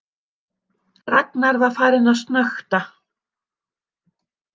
Ragnar var farinn að snökta.